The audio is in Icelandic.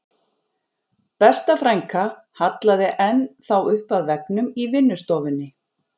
Besta frænka hallaði enn þá upp að veggnum í vinnustofunni